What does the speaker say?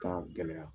Ka gɛlɛya